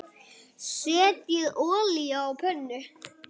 Setjið olíu á pönnu.